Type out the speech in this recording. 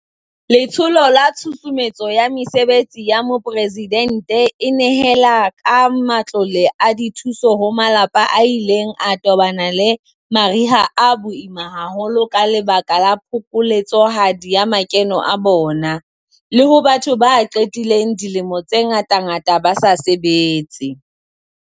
Letsholo la Tshusumetso ya Mesebetsi ya Mopresidente e nehela ka matlole a dithuso ho malapa a ileng a tobana le mariha a boima haholo ka lebaka la phokoletsohadi ya makeno a bona, le ho batho ba qedileng dilemo tse ngatangata ba sa sebetse.